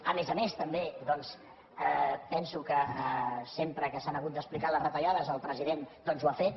a més a més també penso que sempre que s’han hagut d’explicar les retallades el president ho ha fet